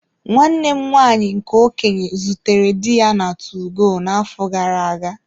Nwanne m nwaanyị nke okenye zutere di ya na 2go na-afọ gara-aga.